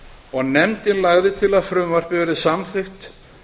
og nefndin lagði til að frumvarpið yrði samþykkt